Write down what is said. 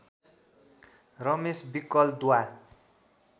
रमेश विकल द्वा